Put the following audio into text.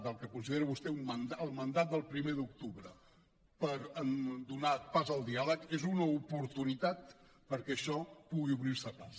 del que considera vostè el mandat del primer d’octubre per donar pas al diàleg és una oportunitat perquè això pugui obrir se pas